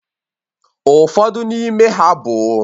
Ụfọdụ n'ime ha bụ